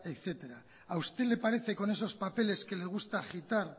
etcétera a usted le parece con esos papeles que le gusta agitar